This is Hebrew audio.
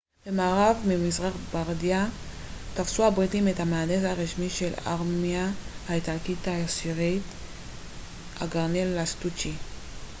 במארב ממזרח לבארדיה תפסו הבריטים את המהנדס הראשי של הארמיה האיטלקית העשירית הגנרל לסטוצ'י